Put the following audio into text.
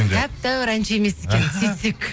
тәп тәуір әнші емес екен сөйтсек